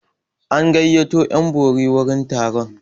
An gayyato 'yan bori wurin taron.